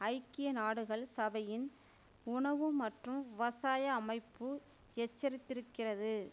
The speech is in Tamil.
ஐக்கிய நாடுகள் சபையின் உணவு மற்றும் விவசாய அமைப்பு எச்சரித்திருக்கிறது